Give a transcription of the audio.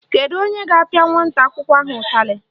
Kedu onye ga-apịa nwata akwụkwọ ahụ ụtalị?